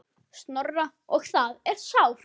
Snorra og það er sárt.